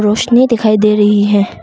रोशनी दिखाई दे रही है।